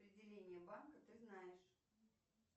отделение банка ты знаешь